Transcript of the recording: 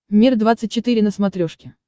мир двадцать четыре на смотрешке